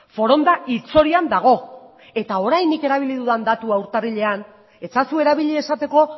foronda hilzorian dago eta orain erabili dudan datua apirilean ez ezazue erabili esateko